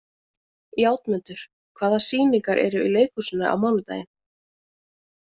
Játmundur, hvaða sýningar eru í leikhúsinu á mánudaginn?